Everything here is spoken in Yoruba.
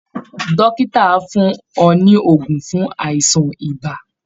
Dókítà á fún ọ ní oògùn fún àìsàn ibà